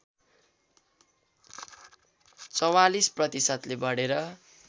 ४४ प्रतिशतले बढेर